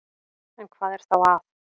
En hvað er þá að?